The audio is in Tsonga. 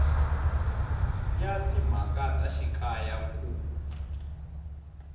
ya timhaka ta xikaya ku